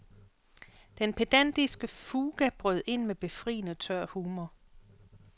Den pedantiske fuga brød ind med befriende tør humor.